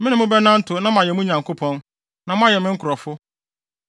Me ne mo bɛnantew, na mayɛ mo Nyankopɔn, na moayɛ me nkurɔfo.